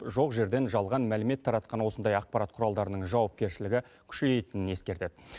жоқ жерден жалған мәлімет таратқан осындай ақпарат құралдарының жауапкершілігі күшейетінін ескертеді